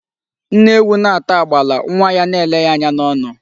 Nne ewu na-ata agbala, nwa ya a na-ele ya anya n'ọnụ.